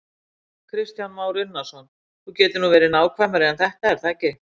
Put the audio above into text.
Kristján Már Unnarsson: Þú getur nú verið nákvæmari en þetta er það ekki?